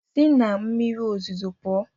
Si na mmiri ozuzo pụọ!